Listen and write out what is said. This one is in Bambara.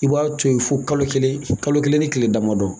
I b'a to ye fo kalo kelen kalo kelen ni tile damadɔ